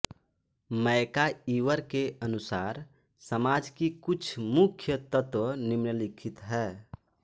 MacIver के अनुसार समाज की कुछ मुख्य तत्व निम्नलिखित है